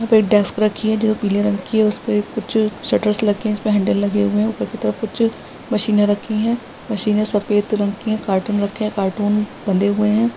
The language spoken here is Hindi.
यहाँ पे एक डेस्क रखी है जो पीले रंग की है इस्पे कुछ शटर रखे है इस्पे हेंडल लगे है ऊपर की तरफ कुछ मशीने रखी है मशीने सफ़ेद रंग की है कार्टून रखे है कार्टून बंधे हुए है।